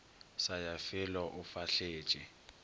sa ya felo o fahletše